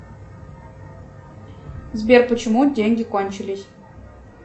сбер почему деньги кончились